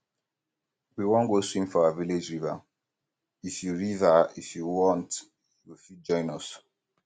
we wan go swim for our village river if you river if you want you go fit join us